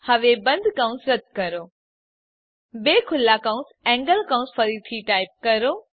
હવે બંધ કૌંસ રદ્દ કરો બે ખુલ્લા એન્ગલ કૌંસ ફરીથી ટાઈપ કરો